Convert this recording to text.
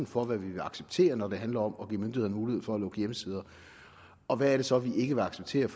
for hvad vi vil acceptere når det handler om at give myndighederne mulighed for at lukke hjemmesider og hvad er det så vi ikke vil acceptere